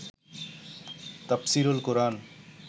তাফসীরুল কুরআন